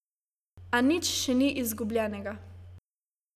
A nič še ni izgubljenega.